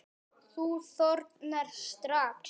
Þú þornar strax.